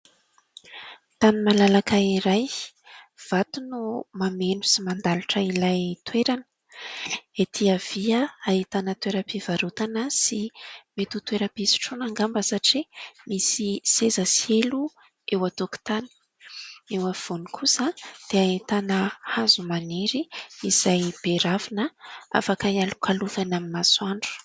Tany malalaka iray, vato no mameno sy mandalotra ilay toerana. Etỳ havia ahitana toera-pivarotana sy mety ho toera-pisotroana angamba satria misy seza sy elo eo an-tokotany. Eo afovoany kosa dia ahitana hazo maniry izay be ravina afaka hialokalofana amin'ny masoandro.